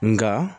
Nka